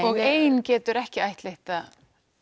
og ein getur ekki ættleitt það